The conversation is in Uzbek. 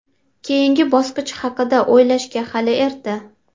Keyingi bosqich haqida o‘ylashga hali erta.